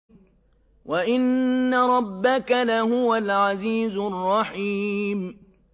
وَإِنَّ رَبَّكَ لَهُوَ الْعَزِيزُ الرَّحِيمُ